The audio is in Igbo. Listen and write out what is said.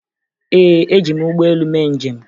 Ee, eji m ụgbọelu mee njem